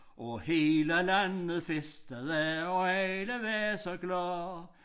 Og hele landet festede og alle var så glade